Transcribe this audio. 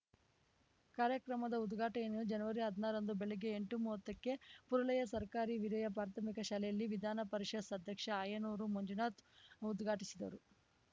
ಕಾರ್ಯಕ್ರಮದ ಉದ್ಘಾಟನೆಯನ್ನು ಜನವರಿಹದ್ನಾರರಂದು ಬೆಳಗ್ಗೆ ಎಂಟುಮೂವತ್ತಕ್ಕೆ ಪುರಲೆಯ ಸರ್ಕಾರಿ ಹಿರಿಯ ಪ್ರಾಥಮಿಕ ಶಾಲೆಯಲ್ಲಿ ವಿಧಾನ ಪರಿಷತ್‌ ಅಧ್ಯಕ್ಷ ಆಯನೂರು ಮಂಜುನಾಥ್‌ ಉದ್ಘಾಟಿಸಿದರು